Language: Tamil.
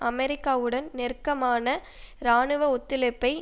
அமெரிக்காவுடன் நெருக்கமான இராணுவ ஒத்துழைப்பை